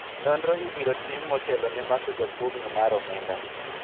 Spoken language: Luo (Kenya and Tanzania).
nonro ibiro tim motelo ne mako jakuogno mar omenda